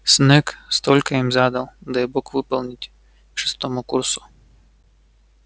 снегг столько им задал дай бог выполнить к шестому курсу